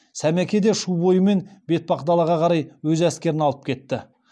сәмеке де шу бойымен бетпақдалаға қарай өз әскерін алып кетті